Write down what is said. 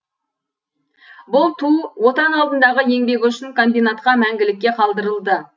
бұл ту отан алдындағы еңбегі үшін комбинатқа мәңгілікке қалдырылды